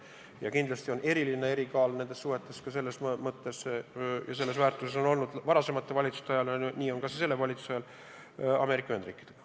Ja kindlasti on eriline kaal nendes suhetes olnud varasemate valitsuste ajal ja on ka selle valitsuse ajal Ameerika Ühendriikidel.